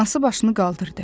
Anası başını qaldırdı.